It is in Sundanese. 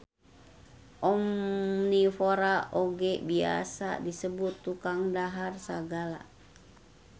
Omnivora oge biasa disebut tukang dahar sagala